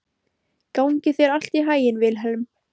Gangi þér allt í haginn, Vilhelm.